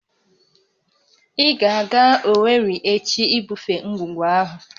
Ị ga-aga Owerri echi ibufe ngwugwu ahụ!